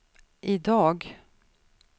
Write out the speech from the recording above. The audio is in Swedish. idag